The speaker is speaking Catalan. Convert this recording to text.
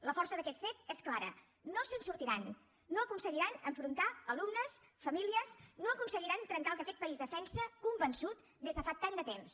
la força d’aquest fet és clara no se’n sortiran no aconseguiran enfrontar alumnes famílies no aconseguiran trencar el que aquest país defensa convençut des de fa tant de temps